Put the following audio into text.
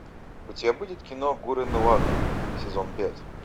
у тебя будет кино гуррен лаганн сезон пять